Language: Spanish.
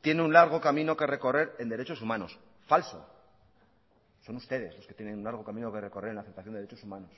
tiene un largo camino que recorrer en derecho humanos falso son ustedes los que tiene un largo camino que recorrer en la aceptación de los derechos humanos